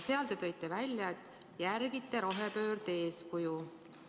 Seal te tõite välja, et järgite rohepöörde eeskuju.